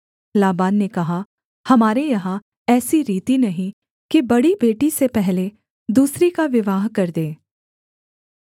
लाबान ने कहा हमारे यहाँ ऐसी रीति नहीं कि बड़ी बेटी से पहले दूसरी का विवाह कर दें